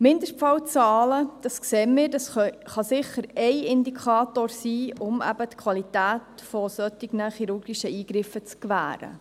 Mindestfallzahlen, dies sehen wir, können ein Indikator sein, um die Qualität von solchen chirurgischen Eingriffen zu gewähren.